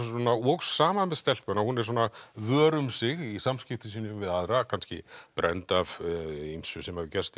vegna sama með stelpuna hún er svona vör um sig í samskiptum sínum við aðra kannski brennd af ýmsu sem hefur gerst í